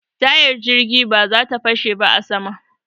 Tayar jirgin ba za ta fashe ba a sama.